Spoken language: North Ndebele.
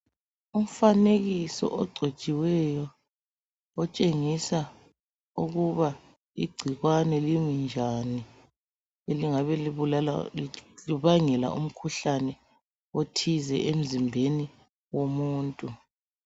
Umfanekiso ogcotshiweyo, otshengisa ukuba igcikwane limi njani. Elingabe libulala li libangela umkhuhlane othize emzimbeni womuntu.